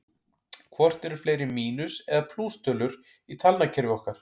Hvort eru fleiri mínus- eða plústölur í talnakerfi okkar?